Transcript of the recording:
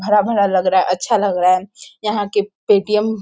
भरा-भरा लग रहा है अच्छा लग रहा है। यहाँ के पेटीएम --